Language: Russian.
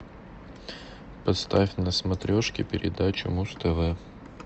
поставь на смотрешке передачу муз тв